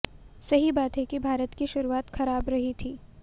सही बात है कि भारत की शुरुआत खराब रही थी